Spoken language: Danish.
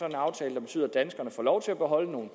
en aftale der betyder at danskerne får lov til at beholde nogle